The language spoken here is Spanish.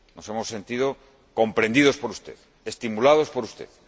Nos hemos sentido comprendidos por usted, estimulados por